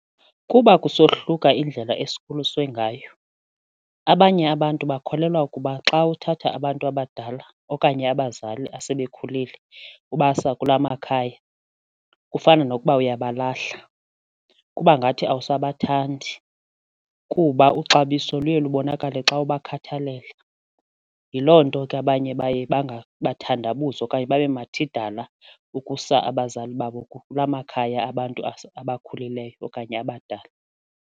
Kuba kusohluka indlela esikhuliswe ngayo, abanye abantu bakholelwa ukuba xa uthatha abantu abadala okanye abazali asebekhulile ubasa kula makhaya kufana nokuba uyabalahla, kuba ngathi awusabathandi kuba uxabiso luye lubonakale xa ubakhathalela. Yiloo nto ke abanye baye bathandabuze okanye babe mathidala ukusa abazali babo kula makhaya abantu abakhulileyo okanye abadala.